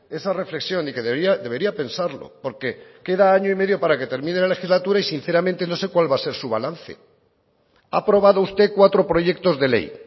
esa reflexión y que debería pensarlo porque queda año y medio para que termine la legislatura y sinceramente no sé cuál va a ser su balance ha aprobado usted cuatro proyectos de ley